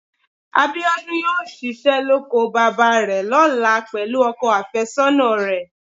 Abíọ́dún yóò ṣiṣẹ́ lóko bàbá rẹ̀ lọ́la pẹ̀lú ọkọ àfẹ́sọ́nà rẹ̀